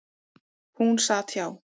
Hún sat hjá.